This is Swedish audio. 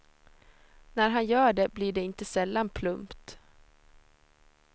När han gör det blir det inte sällan plumpt.